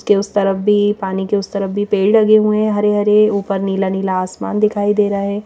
के उस तरफ भी पानी के उस तरफ भी पेड़ लगे हुए हैं हरे हरे ऊपर नीला-नीला आसमान दिखाई दे रहा है।